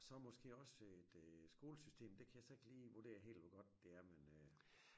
Og så måske også et øh skolesystem det kan jeg så ikke lige vurdere helt hvor godt det er men øh